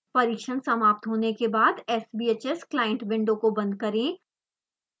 परीक्षण समाप्त होने के बाद sbhs client विंडो को बंद करें